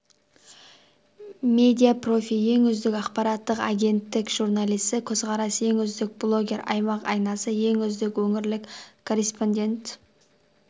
медиа-профи ең үздік ақпараттық агенттік журналисі көзқарас ең үздік блогер аймақ айнасы ең үздік өңірлік корреспондент